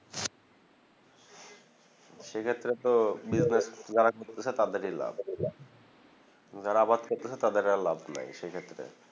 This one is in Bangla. সে ক্ষেত্রে তো business যারা শুরু করছে তাদেরই লাভ যারা আবার শুরু করছে তাদের আর লাভ নাই সে ক্ষত্রে